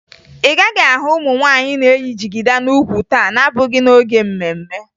Ị gaghị ahụ ụmụ nwaanyị na-eyi jigida n'ukwu taa na-abụghị n'oge mme mme